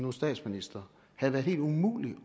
er statsminister havde været helt umulig